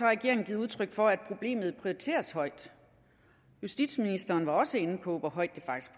regeringen givet udtryk for at problemet prioriteres højt justitsministeren var også inde på hvor højt